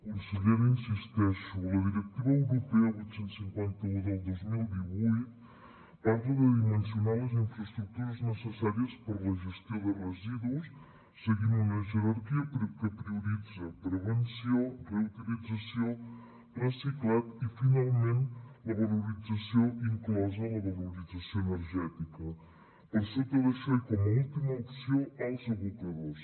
consellera hi insisteixo la directiva europea vuit cents i cinquanta un del dos mil divuit parla de dimensionar les infraestructures necessàries per a la gestió de residus seguint una jerarquia que prioritza prevenció reutilització reciclatge i finalment la valorització inclosa la valorització energètica per sota d’això i com a última opció els abocadors